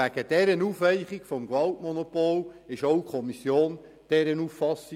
Wegen dieser Aufweichung des Gewaltmonopols war auch die Kommission dieser Auffassung.